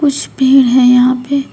कुछ पेड़ है यहां पे।